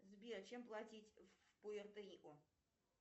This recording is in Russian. сбер чем платить в пуэрто рико